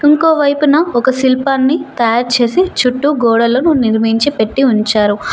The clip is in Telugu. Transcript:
ఇంకోవైపున ఒక శిల్పాన్ని తయారు చేసి చుట్టూ గోడలను నిర్మించి పెట్టీ ఉంచారు.